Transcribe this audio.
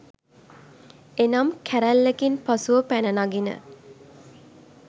එනම් කැරල්ලකින් පසුව පැන නගින